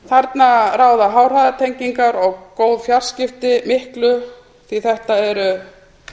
þarna ráða háhraðatengingar og góð fjarskipti miklu því að þetta eru